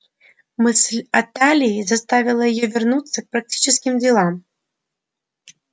мысль о талии заставила её вернуться к практическим делам